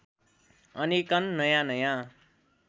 अनेकन नयाँ नयाँ